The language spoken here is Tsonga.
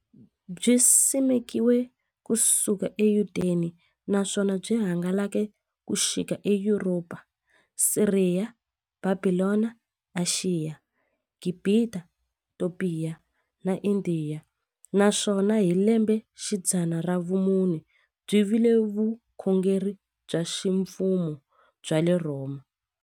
Byisimekiwe ku suka eYudeya, naswona byi hangalake ku xika eYuropa, Siriya, Bhabhilona, Ashiya, Gibhita, Topiya na Indiya, naswona hi lembexidzana ra vumune byi vile vukhongeri bya ximfumo bya le Rhoma.